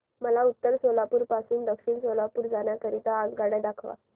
मला उत्तर सोलापूर पासून दक्षिण सोलापूर जाण्या करीता आगगाड्या दाखवा